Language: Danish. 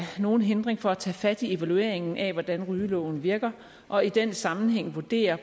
nogen hindring for at tage fat i evalueringen af hvordan rygeloven virker og i den sammenhæng vurdere